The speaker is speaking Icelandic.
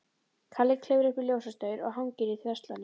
Kalli klifrar upp í ljósastaur og hangir í þverslánni.